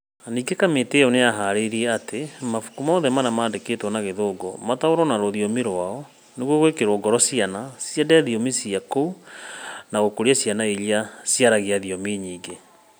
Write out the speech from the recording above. Ningĩ kamĩtĩ ĩyo nĩ yaharĩirie atĩ mabuku mothe marĩa mandĩkĩtwo na Gĩthũngũ mataũrwo na rũthiomi rwao, nĩguo gwĩkĩrũo ngoro ciana ciende thiomi cia kũu na gũkũria ciana iria ciaragia thiomi nyingĩ.